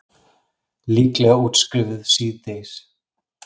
Líklega útskrifuð síðdegis